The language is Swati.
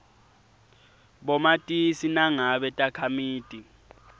bomatisi nangabe takhamiti